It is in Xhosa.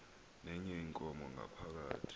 nenye inkomo ngaphakathi